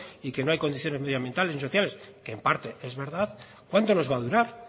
y que no hay condiciones medioambientales ni sociales que en parte es verdad cuánto nos va a durar